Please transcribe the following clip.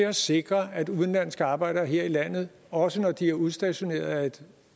at sikre at udenlandske arbejdere her i landet også når de er udstationeret af et